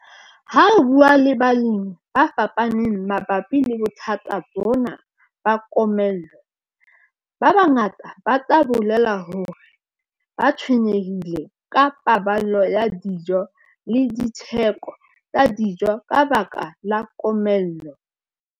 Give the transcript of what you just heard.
Ha re bua ka balemi ba fapaneng mabapi le bothata bona ba komello, ba bangata ba tla o bolella hore ba tshwenyehile ka paballo ya dijo le ditheko tsa dijo ka baka la komello.